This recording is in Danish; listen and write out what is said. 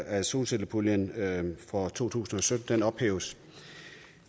at solcellepuljen for to tusind og sytten ophæves